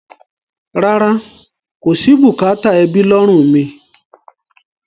Rárá, kò sí bùkátà ẹbí lọ́rùn mi.